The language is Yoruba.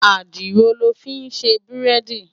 Àdìrò lò fin sé búrèdí